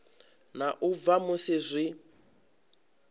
na u bva musi zwi